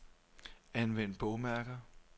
Anvend bogmærker.